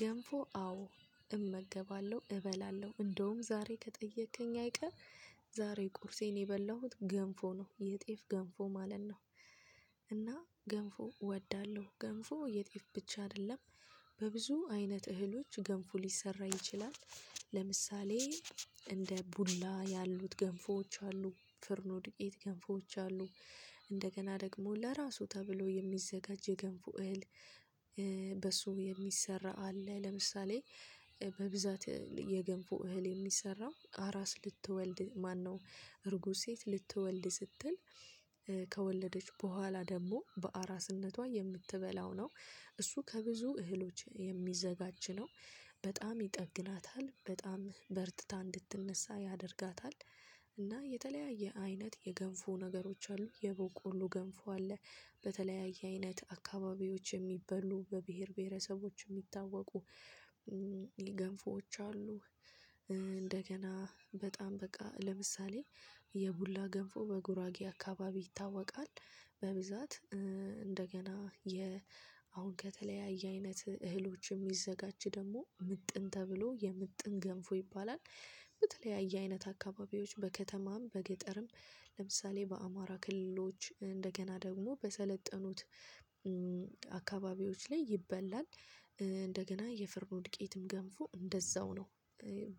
ገንፎ አዎ እመገባለሁ እበላለሁ እንደውም ዛሬ ከጠየከኝ አይቀር ዛሬ ቁርሴን የበላሁት ገንፎ ነው የጤፍ ገንፎ ማለት ነው። እና ገንፎ እወዳለሁ ገንፎ የጤፍ ብቻ አይደለም። በብዙ አይነት እህሎች ገንፉ ሊሰራ ይችላል። ለምሳሌ እንደ ቡላ ያሉት ገንፎዎች አሉ ፍርኑ ድቄት ገንፎዎች አሉ። እንደገና ደግሞ ለራሱ ተብሎ የሚዘጋጅ የገንፉ እህል። በሱ የሚሰራ አለ ለምሳሌ በብዛት የገንፉ እህል የሚሰራው አራስ ልትወልድ ማነው? እርጉዝ ሴት ልትወልድ ስትል ከወለደች በኋላ ደግሞ በአራስነቷ የምትበላው ነው። እሱ ከብዙ እህሎች የሚዘጋጅ ነው። በጣም ይጠግናታል በጣም በርትታ እንድትነሳ ያደርጋታል። እና የተለያየ አይነት የገንፉ ነገሮች አሉ የበቆሎ ገንፉ አለ። በተለያየ አይነት አካባቢዎች የሚበሉ በብሄር ብሄረሰቦች የሚታወቁ ገንፎዎች አሉ። እንደገና በጣም በቃ ለምሳሌ የቡላ ገንፎ በጉራጌ አካባቢ ይታወቃል። በብዛት እንደገና የ አሁን ከተለያየ አይነት እህሎች የሚዘጋጅ ደግሞ ምጥን ተብሎ የምጥን ገንፎ ይባላል። በተለያየ አይነት አካባቢዎች በከተማም በገጠርም ለምሳሌ በአማራ ክልሎች እንደገና ደግሞ በሰለጠኑት አካባቢዎች ላይ ይበላል። እንደገና የፍርኖ ድቄትም ገንፎ እንደዛው ነው።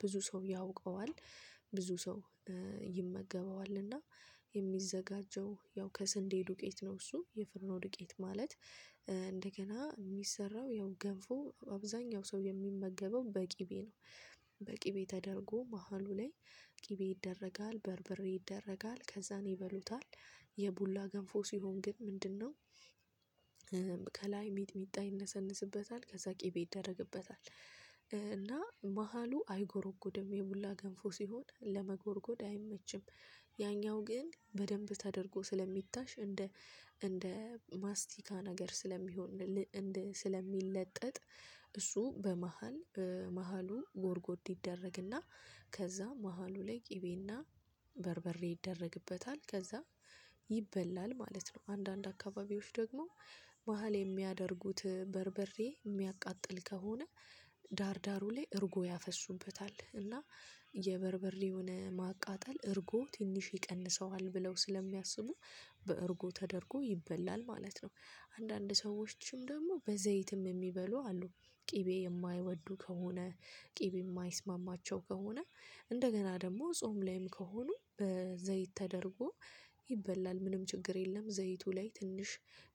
ብዙ ሰው ያውቀዋል ብዙ ሰው ይመገበዋልና የሚዘጋጀው ያው ከሰንዴ ዱቄት ነው እሱ የፍርኖ ዱቄት ማለት እንደገና የሚሰራው ያው ገንፎ አብዛኛው ሰው የሚመገበው በቂቤ ነው። በቂ ቤት ተደርጎ መሃሉ ላይ ቂቤ ይደረጋል በርብሬ ይደረጋል ከዛን ይበሉታል። የቡላ ገንፎ ሲሆን ግን ምንድነው? ከላይ ሚጥሚጣ ይነሰንስበታል ከዛ ቅቤ ይደረግበታል እና መሃሉ አይጎርጎድም የሙላ ገንፎ ሲሆን ለመጎርጎድ አይመችም። ያኛው ግን በደንብ ተደርጎ ስለሚታሽ እንደ እንደ ማስቲካ ነገር ስለሚሆን ስለሚለጠጥ። እሱ በመሃል መሃሉ ጎርጎድ ይደረግና ከዛ መሃሉ ላይ ቅቤና በርበሬ ይደረግበታል። ከዛ ይበላል ማለት ነው። አንዳንድ አካባቢዎች ደግሞ መሃል የሚያደርጉት በርበሬ የሚያቃጥል ከሆነ ዳር ዳሩ ላይ እርጎ ያፈሱበታል እና የበርበርውን ማቃጠል እርጎ ትንሽ ይቀንሰዋል ብለው ስለሚያስቡ በእርጎ ተደርጎ ይበላል ማለት ነው። አንዳንድ ሰዎችም ደግሞ በዘይትም የሚበሉ አሉ። ቅቤ የማይወዱ ከሆነ ቅቤ የማይስማማቸው ከሆነ። እንደገና ደግሞ ጾም ላይም ከሆኑ በዘይት ተደርጎ ይበላል ምንም ችግር የለም። ዘይቱ ላይ ትንሽ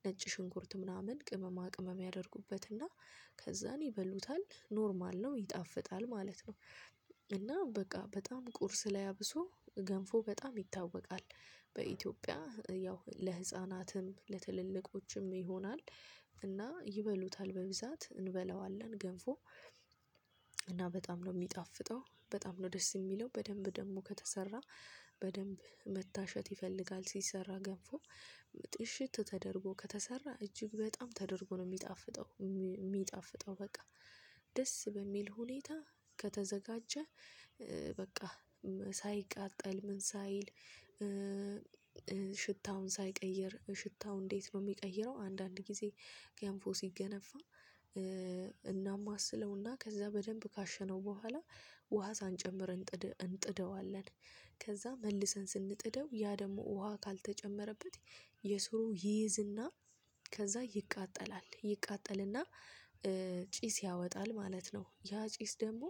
ነጭ ሽንኩርት ምናምን ቅመማ ቅመም ያደርጉበትና ከዛን ይበሉታል ኖርማል ነው ይጣፍጣል ማለት ነው። እና በቃ በጣም ቁርስ ላይ አብሶ ገንፎ በጣም ይታወቃል። በኢትዮጵያ ያው ለህፃናትም ለትልልቆችም ይሆናል እና ይበሉታል በብዛት እንበላዋለን ገንፎ። እና በጣም ነው የሚጣፍጠው በጣም ነው ደስ የሚለው በደንብ ደግሞ ከተሰራ። በደንብ መታሸት ይፈልጋል ሲሰራ ገንፎ። እሽት ተደርጎ ከተሰራ እጅግ በጣም ተደርጎ ነው የሚጣፍጠው የሚጣፍጠው በቃ። ደስ በሚል ሁኔታ ከተዘጋጀ። በቃ ሳይቃጠል ምን ሳይል። ሽታውን ሳይቀይር ሽታው እንዴት ነው የሚቀይረው? አንዳንድ ጊዜ ገንፎ ሲገነፋ። እናም አስለውና ከዛ በደንብ ካሸነው በኋላ ውሃ ሳንጨምር እንጥደዋለን። ከዛ መልሰን ስንጥደው ያ ደግሞ ውሃ ካልተጨመረበት የሱሩ ይይዝና ከዛ ይቃጠላል ይቃጠልና። ጪስ ያወጣል ማለት ነው። ያ ጪስ ደግሞ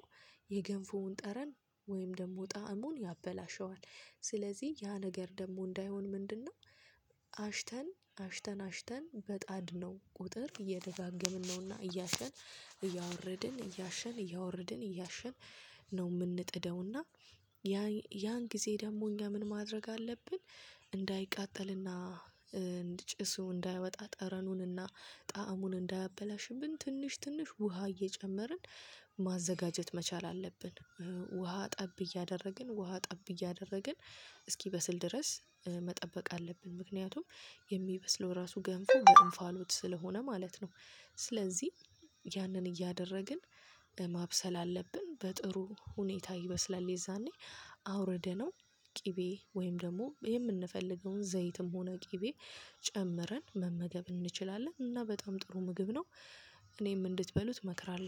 የገንፉውን ጠረን ወይም ደግሞ ጣዕሙን ያበላሸዋል። ስለዚህ ያ ነገር ደግሞ እንዳይሆን ምንድነው? አሽተን አሽተን አሽተን በጣድ ነው ቁጥር እየደጋገምን ነውና እያሸን እያወረድን እያሸን እያወረድን እያሸን ነው የምንጥደውና። ያ ያን ጊዜ ደግሞ እኛ ምን ማድረግ አለብን? እንዳይቃጠልና እንድጭሱ እንዳያወጣ ጠረኑንና ጣዕሙን እንዳያበላሽብን ትንሽ ትንሽ ውሃ እየጨመርን ማዘጋጀት መቻል አለብን። ውሃ ጠብ እያደረግን ውሃ ጠብ እያደረግን እስኪበስል ድረስ መጠበቅ አለብን። ምክንያቱም የሚበስለው ራሱ ገንፎ በእንፋሎት ስለሆነ ማለት ነው። ስለዚህ ያንን እያደረግን ማብሰል አለብን። በጥሩ ሁኔታ ይበስላል የዛኔ አውረደ ነው። ቅቤ ወይም ደግሞ የምንፈልገውን ዘይትም ሆነ ቅቤ ጨምረን መመገብ እንችላለን እና በጣም ጥሩ ምግብ ነው። እኔም እንድትበሉት እመክራለሁ